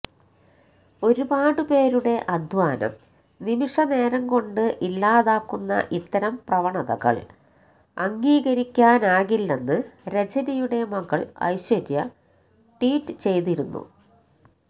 ഒരുപാട് പേരുടെ അധ്വാനം നിമിഷനേരം കൊണ്ട് ഇല്ലാതാക്കുന്ന ഇത്തരം പ്രവണതകള് അംഗീകരിക്കാനാകില്ലെന്ന് രജനിയുടെ മകള് ഐശ്വര്യ ട്വീറ്റ് ചെയ്തിരുന്നു